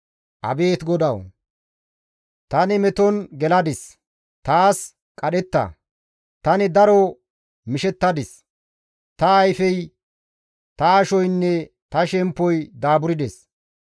Abeet GODAWU! Tani meton geladis; taas qadhetta. Tani daro mishettadis; ta ayfey, ta ashoynne ta shemppoy daaburdes.